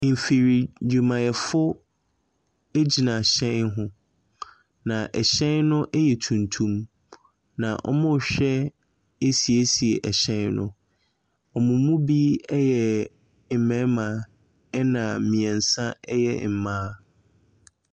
Mfiridwumayɛfo gyina hyɛn ho. Na hyɛn no yɛ tuntum. Na wɔrehwɛ asiesie ɛhyɛn no. Wɔn mu bi yɛ mmarima na mmiɛnsa yɛ mmaa.